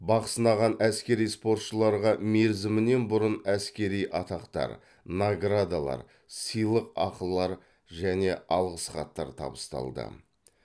бақ сынаған әскери спортшыларға мерзімінен бұрын әскери атақтар наградалар сыйлықақылар және алғыс хаттар табысталды